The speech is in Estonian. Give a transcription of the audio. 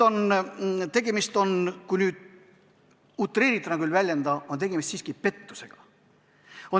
Tegemist on, kui veidi utreeritult väljenduda, siiski pettusega.